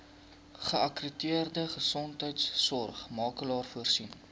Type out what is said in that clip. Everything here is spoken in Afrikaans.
geakkrediteerde gesondheidsorgmakelaar voorsien